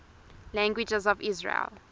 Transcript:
languages of israel